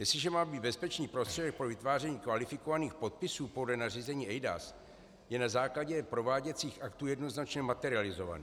Jestliže má být bezpečný prostředek pro vytváření kvalifikovaných podpisů podle nařízení eIDAS, je na základě prováděcích aktů jednoznačně materializovaný.